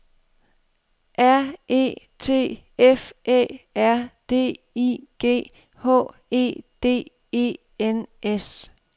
R E T F Æ R D I G H E D E N S